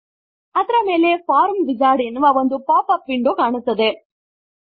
ಅದರ ಮೇಲೆ ಫಾರ್ಮ್ Wizardಎನ್ನುವ ಒಂದು ಪಾಪ್ ಅಪ್ ವಿಂಡೋ ಕಾಣುತ್ತದೆ